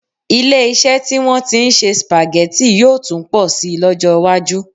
Ilé-iṣẹ́ tí wọ́n ti ń se Spaghetti yóò tún pọ̀ síi lọ́jọ́ iwájú